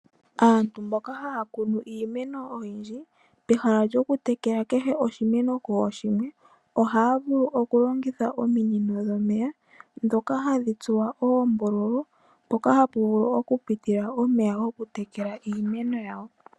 Aantu mboka haya kunu iimeno oyindji pehala lyokutekela oshimeno kooshimwe, ohaya vulu okulongitha ominino dhomeya, ndhoka hadhi tsuwa oombululu, mpoka hapu vulu okupitila omeya gokutekela iimeno yawo.